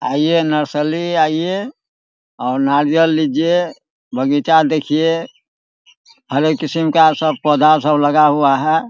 आइए नर्सरी आइए और नारयल लीजिए बगीचा देखिए हर एक किस्म का सब पौधा सब लगा हुआ है ।